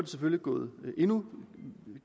selvfølgelig gået endnu